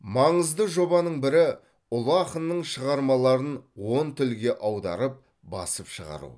маңызды жобаның бірі ұлы ақынның шығармаларын он тілге аударып басып шығару